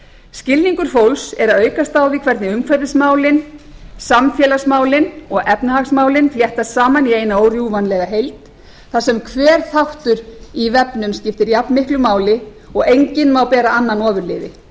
skilningur fólks er að aukast á því hvernig umhverfismálin samfélagsmálin og efnahagsmálin fléttast saman í eina órjúfanlega heild þar sem hver þáttur í vefnum skiptir jafnmiklu máli og enginn má bera annan ofurliði með